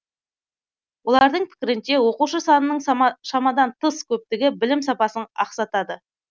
олардың пікірінше оқушы санының шамадан тыс көптігі білім сапасын ақсатады